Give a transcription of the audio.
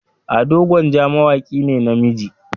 Ado gwanja mawaki ne na namiji.